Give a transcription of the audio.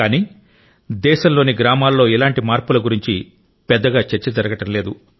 కానీ దేశంలోని గ్రామాల్లో ఇలాంటి మార్పుల గురించి పెద్దగా చర్చ జరగడం లేదు